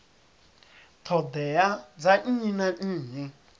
ṱhoḓea dza nnyi na nnyi